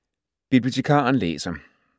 Bibliotekaren læser